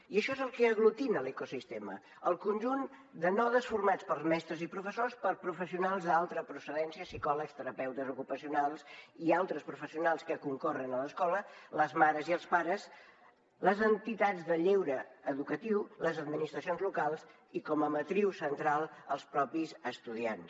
i això és el que aglutina l’ecosistema el conjunt de nodes formats per mestres i professors per professionals d’altra procedència psicòlegs terapeutes ocupacionals i altres professionals que concorren a l’escola les mares i els pares les entitats de lleure educatiu les administracions locals i com a matriu central els mateixos estudiants